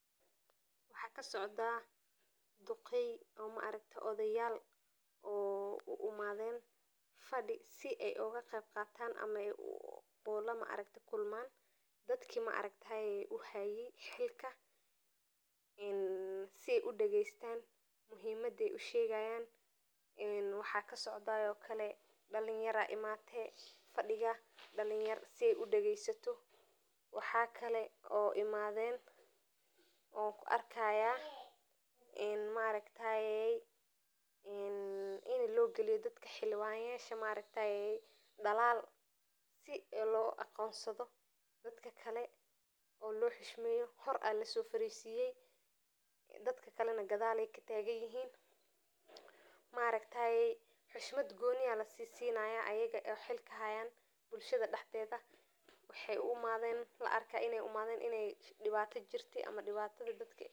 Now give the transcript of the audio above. Waxa waye odayal oo uimaden fadi in ey kulman dadki uhaye shirka in ey dagestan oo dalin aya imate fadiga waxa kalo imaden xildiwano oo dalaal logaliyo sii loarko aya horey lofarisiye oo dadka kale gadaal kafadiyan oo xishmad lasinayo oo laarko in ey cawinad ukenen.